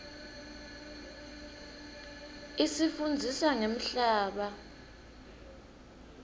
isifundzisa ngemhlaba